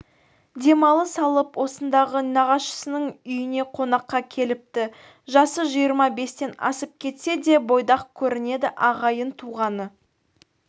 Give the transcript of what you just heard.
демалыс алып осындағы нағашысының үйіне қонаққа келіпті жасы жиырма бестен асып кетсе де бойдақ көрінеді ағайын-туғаны